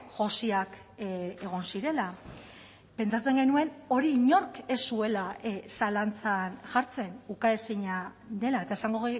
josiak egon zirela pentsatzen genuen hori inork ez zuela zalantzan jartzen ukaezina dela eta esango